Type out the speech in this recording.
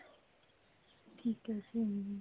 ਠੀਕ ਹੈ ਜੀ